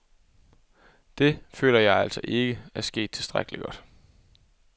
Det, føler jeg altså ikke, er sket tilstrækkeligt godt.